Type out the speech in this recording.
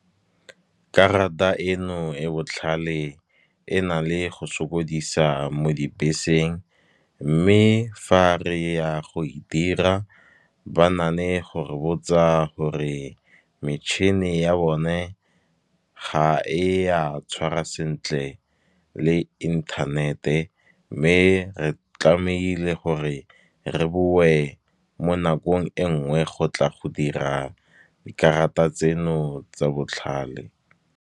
Karata e no e botlhale e na le go sokodisa mo dibeseng. Mme fa re ya go e dira ba na le go re botsa gore, metšhini ya bone ga e a tshwara sentle le inthanete. Mme re tlamehile gore re bowe mo nakong e nngwe, go tla go dira dikarata tseno tsa botlhale.